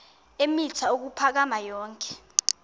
eemitha ukuphakama yonke